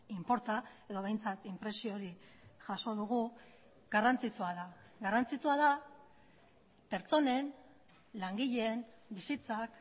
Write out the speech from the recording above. inporta edo behintzat inpresio hori jaso dugu garrantzitsua da garrantzitsua da pertsonen langileen bizitzak